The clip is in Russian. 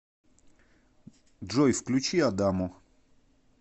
джой включи адамо